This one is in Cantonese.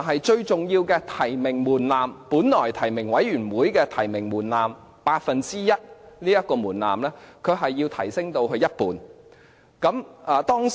最重要的提名門檻，由本來提名委員會八分之一提名門檻，提升至一半。